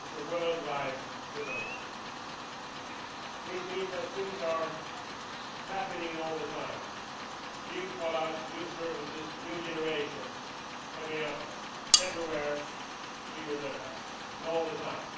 It is a worldwide development, which means that things are happening all the time new products, new services, new generations coming up everywhere, here and there, and all the time.